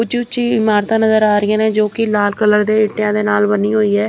ਉੱਚੀ ਉੱਚੀ ਇਮਾਰਤਾਂ ਨਜ਼ਰ ਆ ਰਹੀਆਂ ਨੇ ਜੋ ਕਿ ਲਾਲ ਕਲਰ ਦੇ ਇੱਟਿਆਂ ਦੇ ਨਾਲ ਬੰਨੀ ਹੋਈ ਹੈ।